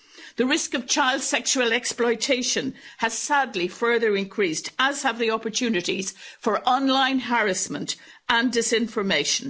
The risk of child sexual exploitation has, sadly, further increased as have the opportunities for online harassment and disinformation.